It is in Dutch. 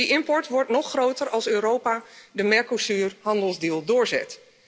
Die import wordt nog groter als Europa de Mercosurhandelsovereenkomst doorzet!